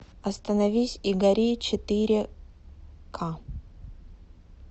остановись и гори четыре ка